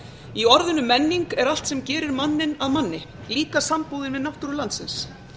í orðinu menning er allt sem gerir manninn að manni líka sambúðin við náttúru landsins